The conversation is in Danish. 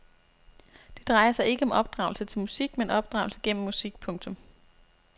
Det drejer sig ikke om opdragelse til musik men opdragelse gennem musik. punktum